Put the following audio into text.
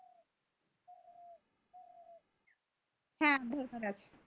হ্যাঁ দিয়ে ফেলান